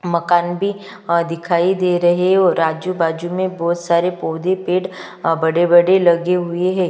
मकान भी अ दिखाई दे रहै ओर आजू -बाजू में बहुत सारे पौधे-पेड़ अ बड़े -बड़े लगे हुए है।